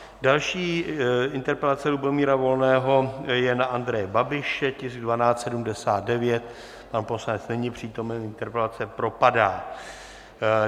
Další interpelace Lubomíra Volného je na Andreje Babiše, tisk 1279, pan poslanec není přítomen, interpelace propadá.